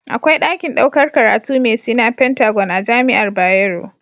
Akwai dakin ɗaukar karatu me Sina pentagon a jamiar bayero